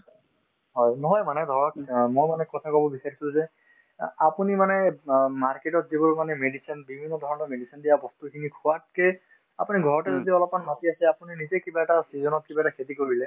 হয়, নহয় মানে ধৰক অ মই মানে কথাতো কব বিচাৰিছিলো যে আ আপুনি মানে অ market তত যিবোৰ মানে medicine বিভিন্নধৰণৰ medicine দিয়া বস্তুখিনি খোৱাতকে আপুনি ঘৰতে যদি অলপমান মাটি আছে আপুনি নিজেই কিবা এটা season ত কিবা এটা খেতি কৰিলে